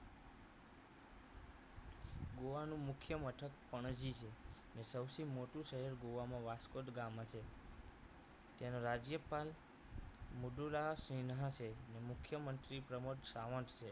ગોવાનું મુખ્ય મથક પણજી છે અને સૌથી મોટું શહેર ગોવામાં વાસ્કો દી ગામા છે તેના રાજ્યપાલ મૃદુ રાવ સેન્હા છે અને મુખ્યમંત્રી પ્રમોદ સાવંત છે